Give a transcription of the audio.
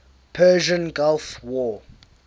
persian gulf war